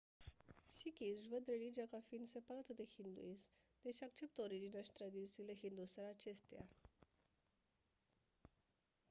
sikhii își văd religia ca fiind separată de hinduism deși acceptă originea și tradițiile hinduse ale acesteia